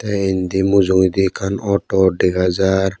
tey indi mujungedi ekkan auto dega jar.